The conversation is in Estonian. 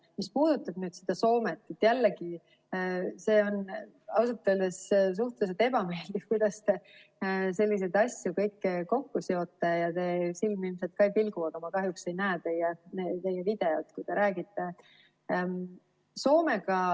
Mis puudutab Soomet, siis jällegi, see on ausalt öeldes suhteliselt ebameeldiv, kuidas te kõiki selliseid asju kokku seote, ja teie silm ilmselt ka ei pilgu, aga ma kahjuks ei näe teie videot, kui te räägite.